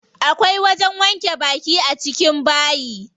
Akwai wajen wanke baki a cikin bayi.